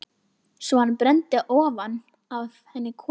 Svo hann brenndi ofan af henni kofann!